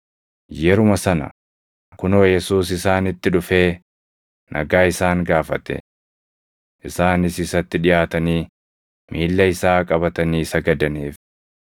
Yeruma sana kunoo Yesuus isaanitti dhufee, nagaa isaan gaafate. Isaanis isatti dhiʼaatanii miilla isaa qabatanii sagadaniif.